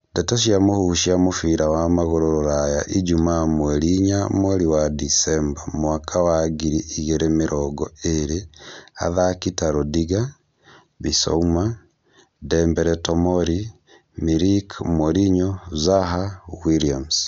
Ndeto cia mũhuhu cia mũbira wa magũrũ Rũraya ijumaa mweri inya mweri wa Decemba mwaka wa ngiri igĩrĩ mĩrongo ĩrĩ athaki ta Rudiger, Bissouma, Dembele Tomori, Milik, Mourinho, Zaha, Williams